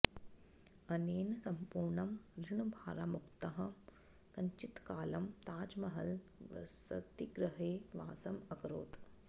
अनेन सम्पूर्णं ऋणभाराद्मुक्तः कञ्चित्कालं ताजमहल् वृसतिगृहे वासम् अकरोत्